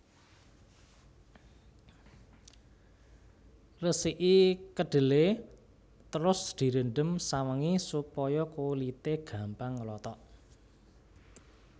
Resiki kedhelé terus direndhem sawengi supaya kulité gampang nglothok